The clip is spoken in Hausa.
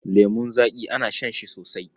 Lemun zaƙi ana shan shi sosai.